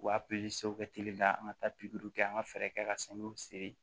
U b'a kɛ teliya an ka taa pikiri kɛ an ka fɛɛrɛ kɛ ka sanu siri